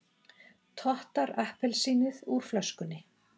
Tottar appelsínið úr flöskunni.